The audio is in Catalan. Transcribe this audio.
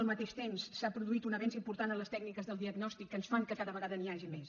al mateix temps s’ha produït un avenç important en les tècniques del diagnòstic que ens fan que cada vegada n’hi hagi més